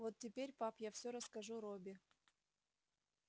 вот теперь пап я все расскажу робби